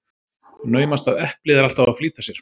Naumast að eplið er alltf að flýta sér.